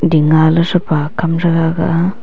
ding ngaley threpa kam threga aga a.